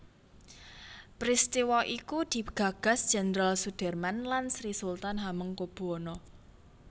Peristiwa iku digagas Jenderal Soedirman lan Sri Sultan Hamengkubuwono